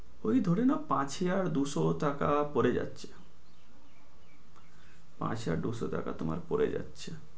ওই ধরে নেও পাছে আর দুইশো টাকা পড়ে যাচ্ছে, পাছে আর দুইশো টাকা তোমার পড়ে যাচ্ছে।